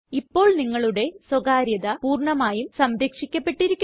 ഇപ്പോൾ നിങ്ങളുടെ സ്വകാര്യത പൂര്ണ്ണമായും സംരക്ഷിക്കപ്പെട്ടിരിക്കുന്നു